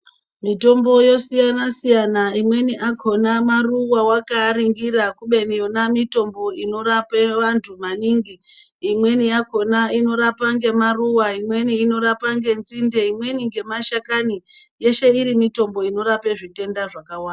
Mitombo yosiyana Siyana imweni akona maruwa wakaningira kubeni nemitombo inorapa vantu maningi imweni yakona inorapa maruwa imweni yacho ngenzinde imweni mashakani yeshe iri mitombo inorapa zvitenda zvakawanda.